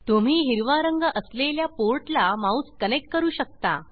तुम्ही हिरवा रंग असलेल्या पोर्ट ला माउस कनेक्ट करू शकता